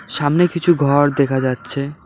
সামনে কিছু ঘর দেখা যাচ্ছে।